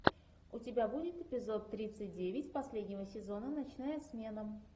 у тебя будет эпизод тридцать девять последнего сезона ночная смена